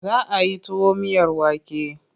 Za a yi tuwo miyar wake.